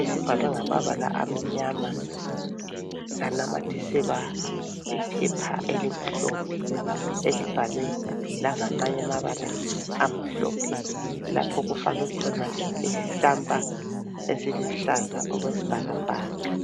esibhalwe ngamabala amnyama sanamathiselwa iphepha elimhlophe elibhalwe langamanuye amabala amhlophe lapho okufakwe khona isitampa esiluhlaza okwesibhakabhaka.